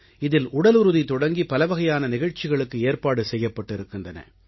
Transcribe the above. இதில் உடலுறுதி தொடங்கி பலவகையான நிகழ்ச்சிகளுக்கு ஏற்பாடு செய்யப்பட்டிருக்கின்றன